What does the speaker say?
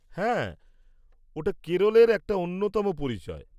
হ্যাঁ, ওটা কেরলের একটা অন্যতম পরিচয়।